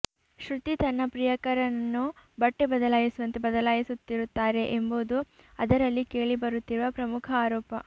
ಶ್ರುತಿ ತನ್ನ ಪ್ರಿಯಕರನ್ನು ಬಟ್ಟೆ ಬದಲಾಯಿಸುವಂತೆ ಬದಲಾಯಿಸುತ್ತಿರುತ್ತಾರೆ ಎಂಬುದು ಅದರಲ್ಲಿ ಕೇಳಿಬರುತ್ತಿರುವ ಪ್ರಮುಖ ಆರೋಪ